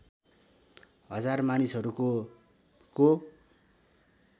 १००० मानिसहरूको को